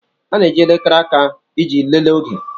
A na-eji elekere aka iji lelee oge.